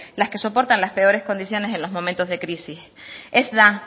las que soportan las perores condiciones en los momentos de crisis ez da